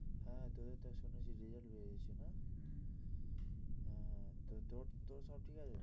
হ্যাঁ তোদের তো শুনেছি result বেরিয়েছে না হ্যাঁ তোর তোর সব ঠিক আছে?